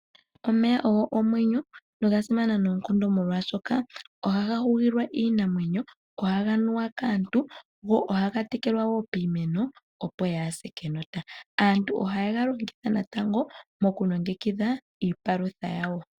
Omeya ogo omwenyo noga simana noonkondo molwashoka ohaga hugilwa iinamwenyo, ohaga nuwa kaantu go ohaga tekelwa wo piimeno, opo yaa se kenota. Aantu ohaye ga longitha wo natango mokulongekidha iipalutha yawo.